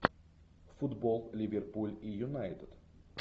футбол ливерпуль и юнайтед